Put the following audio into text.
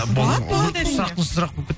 болады болады әрине ұсақ сұрақ болып